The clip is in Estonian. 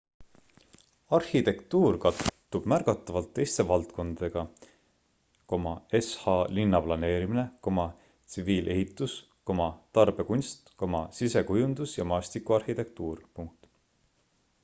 arhitektuur kattub märgatavalt teiste valdkondadega sh linnaplaneerimine tsiviilehitus tarbekunst sisekujundus ja maastikuarhitektuur